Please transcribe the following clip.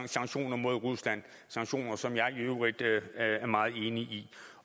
sanktioner mod rusland sanktioner som jeg i øvrigt er meget enig i